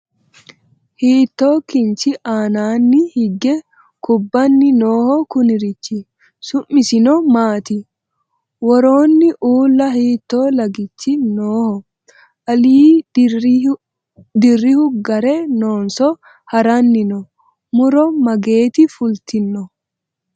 Hiitto kinchi aannaanni hige kubbanni nooho kunirichi? Su'missinno maatti? woroonni uulla hiitto lagichi nooho? Alinni dirihu gare noonso haranni noo? Muro mageetti fulittinno?